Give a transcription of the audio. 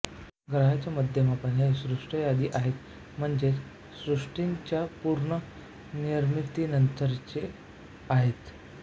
ग्रहाचे मध्यममान हे सृष्ट्यादि आहेत म्हणजे सृष्टीच्यापूर्ण निर्मितीनंतरचे आहेत